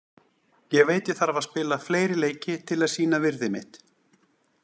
Ég veit að ég þarf að spila fleiri leiki til þess að sýna virði mitt